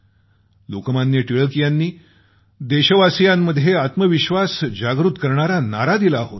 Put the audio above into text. लोकमान्य टिळक यांनी देशवासियांमध्ये आत्मविश्वास जागृत करणारी घोषणा दिली होती